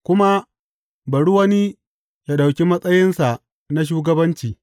kuma, Bari wani ya ɗauki matsayinsa na shugabanci.’